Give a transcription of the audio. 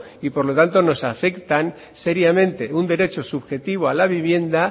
y por lo tanto nos afectan seriamente un derecho subjetivo a la vivienda